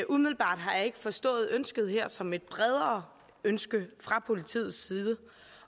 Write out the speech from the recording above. umiddelbart har jeg ikke forstået ønsket her som et bredere ønske fra politiets side